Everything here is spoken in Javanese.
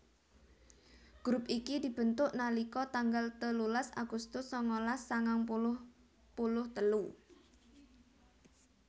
grup iki dibentuk nalika tanggal telulas agustus sangalas sangang puluh puluh telu